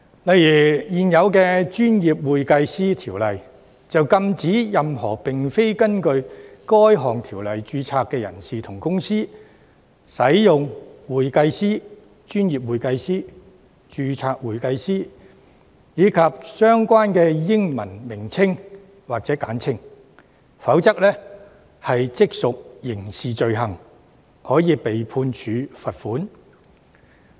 例如現有的《專業會計師條例》便禁止任何並非根據《條例》註冊的人士及公司，使用"會計師"、"專業會計師"、"註冊會計師"及相關的英文稱謂或簡稱，否則即屬刑事罪行，可被判處罰款。